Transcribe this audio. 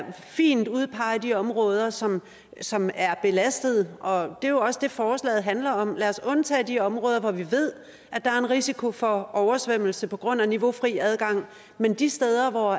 fint udpege de områder som som er belastede og det er jo også det forslaget handler om lad os undtage de områder hvor vi ved der er en risiko for oversvømmelse på grund af niveaufri adgang men de steder hvor